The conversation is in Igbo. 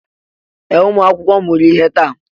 Ee! Ụmụ akwụkwọ mụrụ ihe taa.